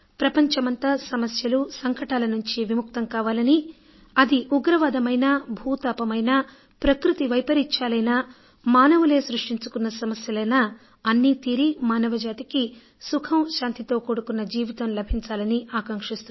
ప్రపంచమంతా సమస్యలూ సంకటాల నుంచి విముక్తం కావాలనీ అది ఉగ్రవాదమైనా భూతాపమైనా ప్రకృతి వైపరీత్యాలైనా మానవులే సృష్టించుకున్న సమస్యలైనా అన్నీ తీరి మానవజాతికి సుఖం శాంతితో కూడుకున్న జీవితం లభించాలి